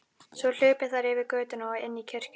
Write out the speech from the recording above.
Svo hlupu þær yfir götuna og inn í kirkjuna.